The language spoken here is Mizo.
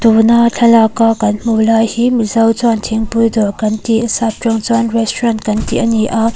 tuna thlalâka kan hmuh lai hi mizo chuan thingpui dâwr kan tih sâp ṭawng chuan restaurant kan tih a ni a.